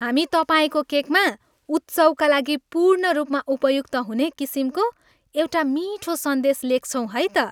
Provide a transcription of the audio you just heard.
हामी तपाईँको केकमा उत्सवका लागि पूर्ण रूपमा उपयुक्त हुने किसिमको एउटा मिठो सन्देश लेख्छौँ है त।